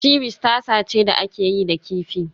Ceviche tasa ce da aka yi da kifi